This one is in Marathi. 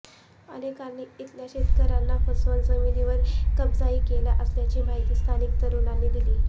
अनेकांनी इथल्या शेतकऱ्यांना फसवून जमीनीवर कब्जाही केला असल्याची माहिती स्थानिक तरूणांनी दिली